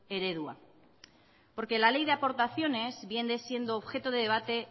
eredua porque la ley de aportaciones viene siendo objeto de debate